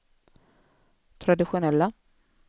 traditionella